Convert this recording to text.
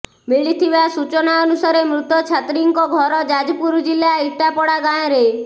ମିଳିଥିବା ସୂଚନା ଅନୁସାରେ ମୃତ ଛାତ୍ରୀଙ୍କ ଘର ଯାଜପୁର ଜିଲ୍ଲା ଇଟାପଡ଼ା ଗାଁରେ